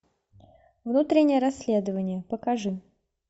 внутреннее расследование покажи